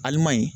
Alimayi